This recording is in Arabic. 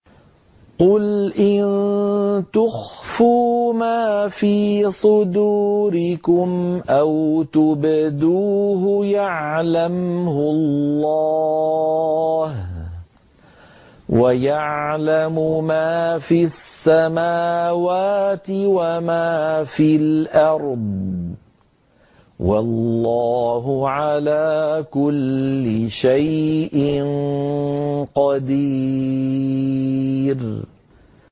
قُلْ إِن تُخْفُوا مَا فِي صُدُورِكُمْ أَوْ تُبْدُوهُ يَعْلَمْهُ اللَّهُ ۗ وَيَعْلَمُ مَا فِي السَّمَاوَاتِ وَمَا فِي الْأَرْضِ ۗ وَاللَّهُ عَلَىٰ كُلِّ شَيْءٍ قَدِيرٌ